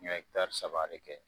N ye hektari saba de kɛ